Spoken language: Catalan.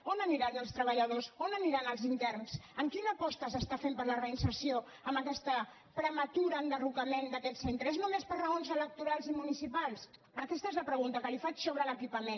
on aniran els treballadors on aniran els interns quina aposta s’està fent per a la reinserció amb aquest prematur en·derrocament d’aquest centre és només per raons elec·torals i municipals aquesta és la pregunta que li faig sobre l’equipament